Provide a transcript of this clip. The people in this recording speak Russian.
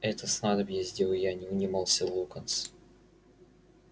это снадобье сделаю я не унимался локонс